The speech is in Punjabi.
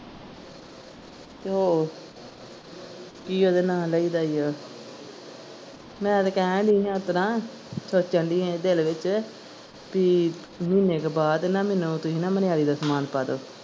ਤੇ ਉਹ ਕੀ ਓਹਦਾ ਨਾ ਲਾਇਦਾ ਈ ਆ ਮੈਂ ਤੇ ਕਹਿਣ ਦੀ ਆ ਏਤਰਾਂ ਸੋਚਣ ਦੀ ਆ ਦਿਲ ਵਿਚ ਬੀ ਮਹੀਨੇ ਕ ਬਾਅਦ ਨਾ ਮੈਨੂੰ ਤੁਸੀਂ ਨਾ ਮਨਿਆਰੀ ਦਾ ਸਮਾਨ ਪਾ ਦਵੋ।